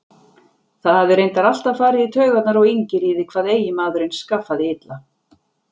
Það hafði reyndar alltaf farið í taugarnar á Ingiríði hvað eiginmaðurinn skaffaði illa.